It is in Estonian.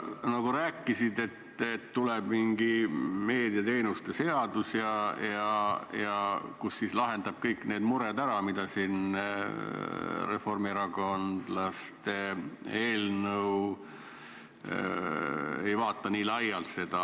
Sa nagu rääkisid, et tuleb mingi meediateenuste seadus, kus lahendatakse kõik need mured ära, mida reformierakondlaste eelnõu ei vaata nii laialt.